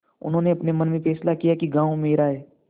उन्होंने अपने मन में फैसला किया कि गॉँव मेरा है